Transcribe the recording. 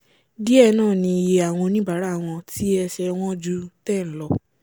díẹ̀ náà ni iye àwọn oníbàárà wọ́n tí ẹsẹ̀ ẹ wọ́n ju 10 lọ